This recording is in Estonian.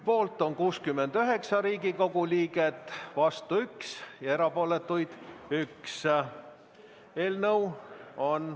Poolt on 69 Riigikogu liiget, vastuolijaid 1 ja erapooletuid 1.